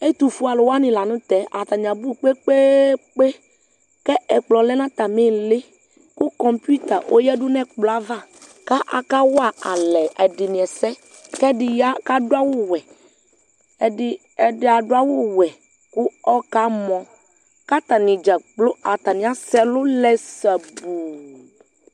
Ɛtufue akʋ wani lanʋ tɛ atani abʋ kpe kpe kpe kpe kʋ ɛkplɔ lɛnʋ atami iili kʋ kɔmputa ɔyadʋ nʋ ɛkplɔɛ ava kʋ aka walɛ ɛdini ɛsɛ ɛdi ya kʋ adʋ awʋwɛ kʋ ɔkamɔ kʋ atani dzakplo atani asɛ ɛlʋlɛ sabʋʋ